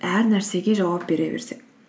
әр нәрсеге жауап бере берсең